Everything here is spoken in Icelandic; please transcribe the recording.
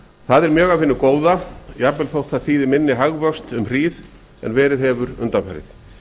það er mjög af hinu góða jafnvel þótt það þýði minni hag vöxty um hríð en verið hefur undanfarið